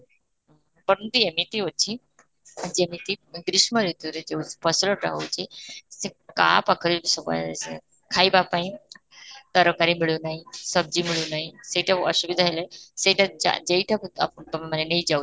ଏମିତି ଅଛି ଯେମିତି ଗ୍ରୀଷ୍ମ ଋତୁରେ ଯଉ ଫସଲଟା ହଉଛି ସେ କାହା ପାଖରେ ବି ସେ ଖାଇବା ପାଇଁ ତରକାରୀ ମିଳୁ ନାହିଁ ମିଳୁ ନାହିଁ ସେଇଟା ଅସୁବିଧା ହେଲେ ସେଇଟା ଯାଇ ଯେଇଟା କୁ ଆଃ ତୋମେ ମାନେ ନାଇଁ ଯାଉ